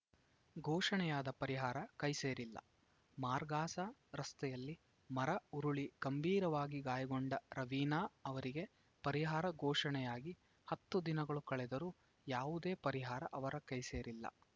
ಘೋಷಣೆಯಾದ ಪರಿಹಾರ ಕೈ ಸೇರಿಲ್ಲ ಮಾರ್ಗಾಸಾ ರಸ್ತೆಯಲ್ಲಿ ಮರ ಉರುಳಿ ಗಂಭೀರವಾಗಿ ಗಾಯಗೊಂಡ ರವೀನಾ ಅವರಿಗೆ ಪರಿಹಾರ ಘೋಷಣೆಯಾಗಿ ಹತ್ತು ದಿನಗಳು ಕಳೆದರೂ ಯಾವುದೇ ಪರಿಹಾರ ಅವರ ಕೈಸೇರಿಲ್ಲ